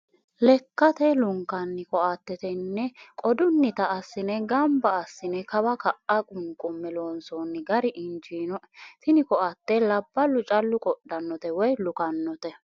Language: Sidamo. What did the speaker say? Lekkate lunkanni koatte tene qodutta assine gombe assine kawa ka"a qunqume loonsonni gari injinoe, tini koatte labballu callu qodhanote woyi lukkanote.